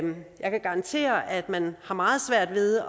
jeg kan garantere at man har meget svært ved